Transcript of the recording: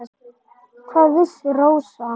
Hvað vissi Rósa.